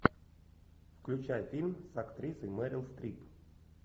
включай фильм с актрисой мерил стрип